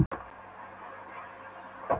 Eitt flóttaskipanna hafði fallið í hendur